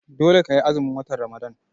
Dole ka yi azumin watan Ramadan!